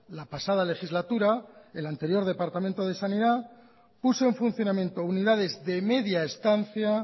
la pasada legislatura el anterior departamento de sanidad puso en funcionamiento unidades de media estancia